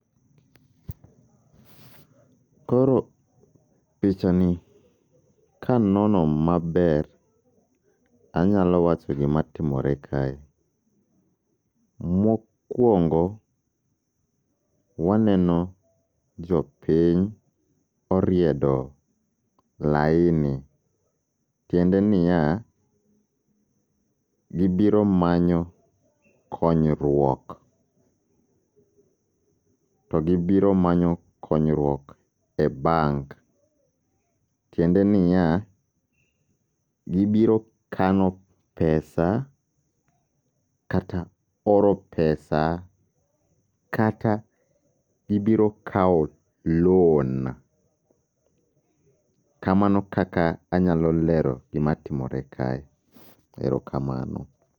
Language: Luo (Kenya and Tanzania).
Koro picha ni kanono maber, anyalo wacho gima timore kae. Mokwongo waneno jopiny oriedo laini, tiende niya, gibiro manyo konyruok. To gibiro manyo konyruok e bank, tiende niya, gibiro kano pesa kata oro pesa kata gibiro kawo loan. Kamano kaka anyalo lero gima timore kae, erokamano.